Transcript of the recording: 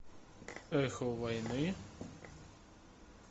эхо войны